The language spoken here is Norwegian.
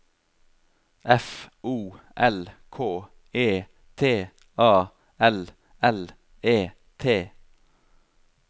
F O L K E T A L L E T